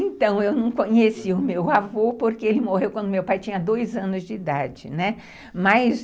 Então, eu não conhecia o meu avô, porque ele morreu quando meu pai tinha dois anos de idade, né, mas,